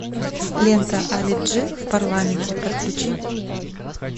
лента али джи в парламенте подключи